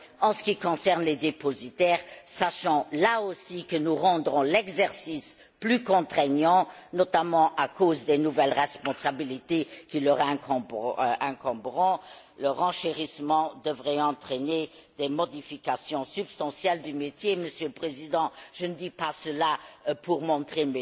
En ce qui concerne les dépositaires, sachant là aussi que nous rendrons l'exercice plus contraignant, notamment à cause des nouvelles responsabilités qui leur incomberont, le renchérissement devrait entraîner des modifications substantielles du métier, Monsieur le Président, je ne dis pas cela pour montrer